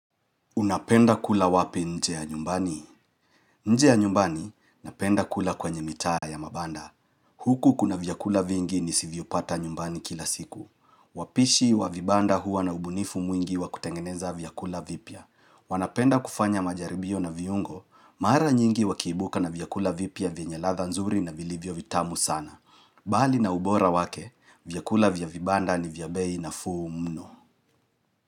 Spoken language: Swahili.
Unapenda kula wapi nje ya nyumbani? Nje ya nyumbani, napenda kula kwenye mitaa ya mabanda. Huku kuna vyakula vingi nisivyopata nyumbani kila siku. Wapishi wa vibanda huwa na ubunifu mwingi wakutengeneza vyakula vipya. Wanapenda kufanya majaribio na viungo, mara nyingi wakiibuka na vyakula vipia venye latha nzuri na vilivyo vitamu sana. Bali na ubora wake, vyakula vya vibanda ni vya bei nafuu mno.